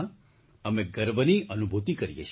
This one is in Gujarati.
અમે ગર્વની અનુભૂતિ કરી રહ્યા છીએ